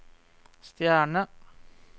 stjerne